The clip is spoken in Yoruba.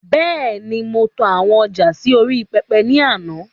Bẹ́ẹ̀ni, mo to àwọn ọjà sì orí pẹpẹ ni àná